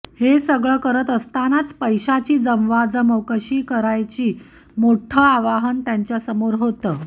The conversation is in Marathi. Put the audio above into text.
हे सगळं करत असतानाच पैशाची जमवाजमव कशी करण्याचं मोठं आव्हान त्यांच्यासमोर होतं